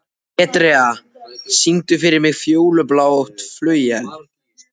Petrea, syngdu fyrir mig „Fjólublátt flauel“.